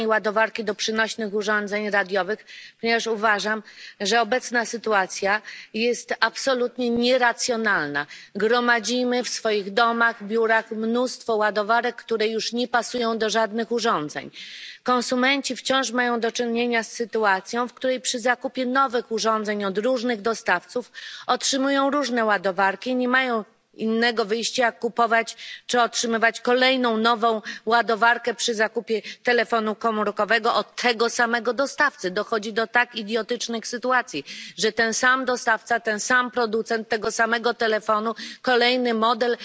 Pani Przewodnicząca! Oczywiście poparłam tę rezolucję w sprawie uniwersalnej ładowarki do przenośnych urządzeń radiowych, ponieważ uważam, że obecna sytuacja jest absolutnie nieracjonalna. Gromadzimy w swoich domach, biurach mnóstwo ładowarek, które już nie pasują do żadnych urządzeń. Konsumenci wciąż mają do czynienia z sytuacją, w której przy zakupie nowych urządzeń od różnych dostawców otrzymują różne ładowarki i nie mają innego wyjścia, jak tylko kupować czy otrzymywać kolejną nową ładowarkę przy zakupie telefonu komórkowego od tego samego dostawcy. Dochodzi do tak idiotycznych sytuacji, że ten sam dostawca, ten sam producent tego samego telefonu kolejny model